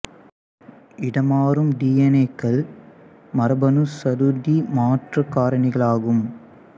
இடமாறும் டி என் ஏகள் மரபணு சடுதி மாற்றக் காரணிகளாகும்